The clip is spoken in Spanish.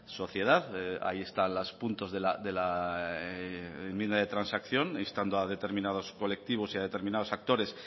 sociedad ahí están los puntos de la enmienda de transacción instando a determinados colectivos y a determinados actores